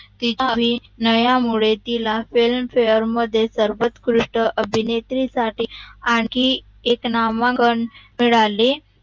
तिचे अभिनय़ा मुळे तिला Filmfare मध्ये सर्वकृष्ट अभिनेत्रीसटी आणखी एक नामांकन मिळाले